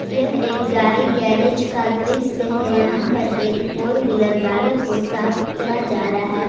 यह एक गाड़ी गैरेज का दृश्य है यहां पर एक फोर व्हीलर गाड़ी को साफ किया जा रहा है।